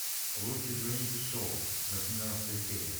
лучше звоните солу восемнадцатая серия